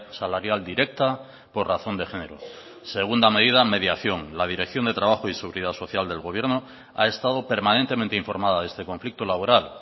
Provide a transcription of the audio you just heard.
salarial directa por razón de género segunda medida mediación la dirección de trabajo y seguridad social del gobierno ha estado permanentemente informada de este conflicto laboral